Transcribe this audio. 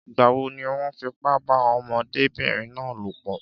Ìgbà wo ni wọ́n fipá bá ọmọdébìnrin náà lòpọ̀?